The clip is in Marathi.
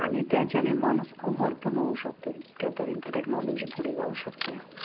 आणि त्याच्याने माणूस अमर पण होऊ शकतोय. इतक्या पर्यंत technology पुढे जाऊ शकते.